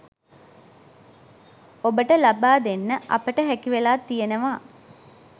ඔබට ලබා දෙන්න අපට හැකි වෙලා තියෙනවා